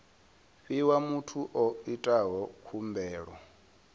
fhiwa muthu o itaho khumbelo